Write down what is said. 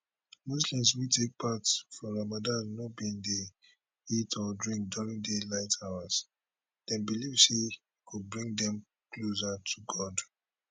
muslims wey take part for ramadan no bin dey eat or drink during daylight hours dem believe say e go bring dem closer to god